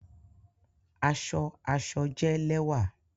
Aṣọ aṣọ jẹ lẹwa